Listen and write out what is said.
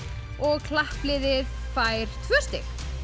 og klappliðið fær tvö stig